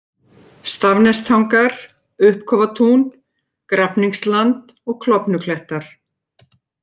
Stafnestangar, Uppkofatún, Grafningsland, Klofnuklettar